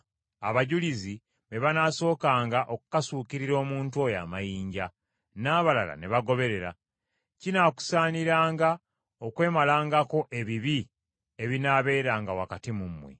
Abajulizi be banaasookanga okukasuukirira omuntu oyo amayinja, n’abalala ne bagoberera. Kinaakusaaniranga okwemalangako ebibi ebinaabeeranga wakati mu mmwe.